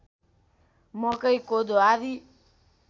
मकै कोदो आदि